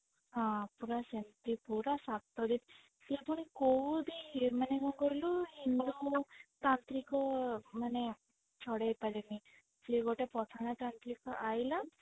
ହଁ ପୁରା ସେମତି ପୁରା ସେ ପୁଣି କୋଉ ବି ମାନେ କଣ କହିଲୁ ଇଏମ ଯୋଉ ତାନ୍ତ୍ରିକ ମାନେ ଛଡେଇ ପାରିନି ସିଏ ଗୋଟେ ପଠାଣ ତାନ୍ତ୍ରିକ ଆଇଲା